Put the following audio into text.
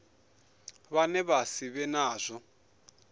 vhane vha si vhe nazwo